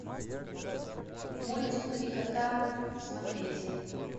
мультик три кота смотреть